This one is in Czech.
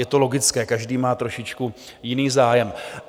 Je to logické, každý má trošičku jiný zájem.